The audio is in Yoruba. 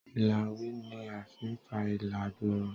ilawé ní afí n fá ilà gbooró